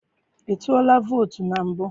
I tụọla vootu na mbụ?